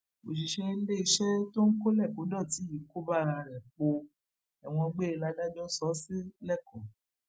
òṣìṣẹ iléeṣẹ tó ń kọlékòdọtì yìí kọba ara ẹ póò ẹwọn gbére ládàjọ so ó sì lẹkọọ